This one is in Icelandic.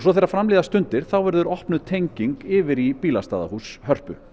þegar fram líða stundir verður opnuð tenging yfir í bílastæðahús Hörpu